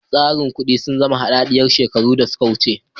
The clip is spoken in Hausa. Tsarin kudi sun zama hadadiyar shekaru sa sun wuce.